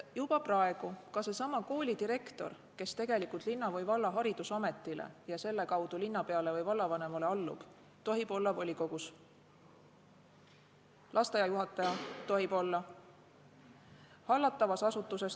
Juba praegu ka seesama koolidirektor, kes tegelikult linna või valla haridusametile ja selle kaudu linnapeale või vallavanemale allub, tohib olla volikogus.